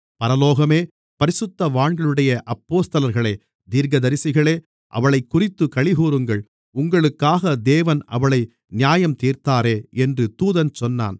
பரலோகமே பரிசுத்தவான்களாகிய அப்போஸ்தலர்களே தீர்க்கதரிசிகளே அவளைக்குறித்துக் களிகூருங்கள் உங்களுக்காக தேவன் அவளை நியாயந்தீர்த்தாரே என்று தூதன் சொன்னான்